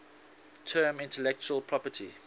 term intellectual property